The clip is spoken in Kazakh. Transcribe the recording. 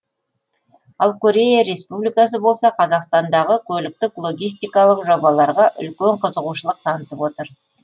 ал корея республикасы болса қазақстандағы көліктік логистикалық жобаларға үлкен қызығушылық танытып отыр